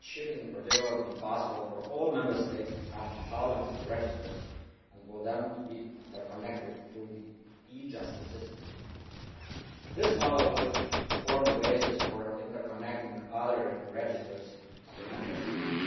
It should in particular be possible for all Member States to have insolvency registers and for them to be interconnected through the e Justice system. This model could form the basis for interconnecting other registers of the Member States.